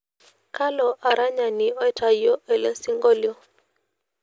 kalo aranyani oitauo elesingolio